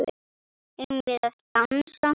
Eigum við að dansa?